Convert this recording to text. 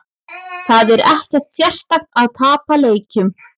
Það er ekkert sérstakt að tapa leikjum.